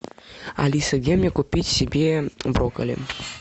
алиса где мне купить себе брокколи